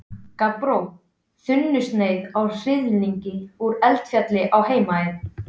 Gabbró, þunnsneið af hnyðlingi úr Eldfelli á Heimaey.